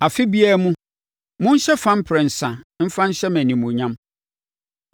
“Afe biara mu, monhyɛ fa mprɛnsa mfa nhyɛ me animuonyam.